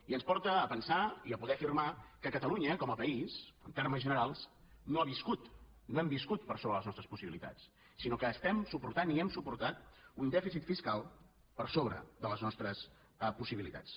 i ens porta a pensar i a poder afirmar que catalunya com a país en termes generals no ha viscut no hem viscut per sobre de les nostres possibilitats sinó que estem suportant i hem suportat un dèficit fiscal per sobre de les nostres possibilitats